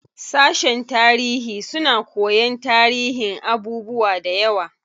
Sashen tarihi suna koyan tarihin abubuwa dayawa.